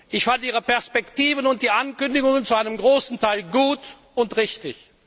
Ich fand Ihre Perspektiven und die Ankündigungen zu einem großen Teil gut und richtig.